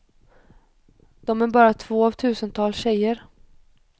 De är bara två av tusentals tjejer.